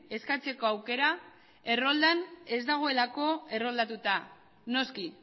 eskatzeko aukera erroldan ez daudelako erroldatuta noski